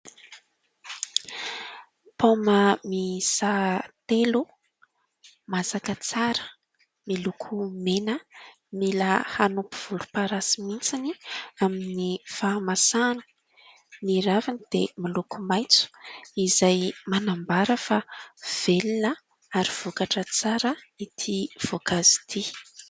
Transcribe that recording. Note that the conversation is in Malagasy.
Paoma miisa telo, masaka tsara, miloko mena, mila hanompo volomparasy mihitsiny amin'ny fahamasahana. Ny raviny dia miloko maitso izay manambara fa velona ary vokatra tsara ity voankazo ity.